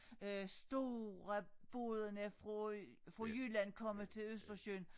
Øh store bådene fra fra Jylland komme til Østersøen